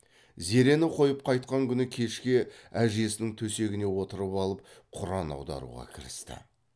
зерені қойып қайтқан күні кешке әжесінің төсегіне отырып алып құран аударуға кірісті